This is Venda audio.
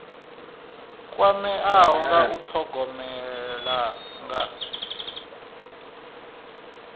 kwameaho nga u thogomela nga